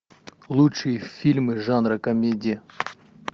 лучшие фильмы жанра комедия